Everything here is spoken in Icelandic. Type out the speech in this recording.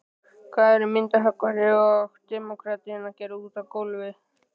Hvað eru myndhöggvarinn og demókratinn að gera úti á gólfi.